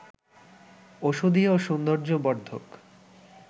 ঔষধি ও সৌন্দর্য বর্ধক